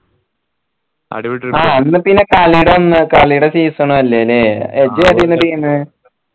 ആ അന്ന്പ്പിന്നെ കളിടെ അന്ന് കളിടെ season ഉം അല്ലെ ലേ ഇജ്ജ് ഏതായിരുന്നു team